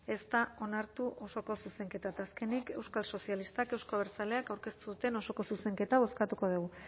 ez da onartu osoko zuzenketa eta azkenik euskal sozialistak euzko abertzaleak aurkeztu duten osoko zuzenketa bozkatuko dugu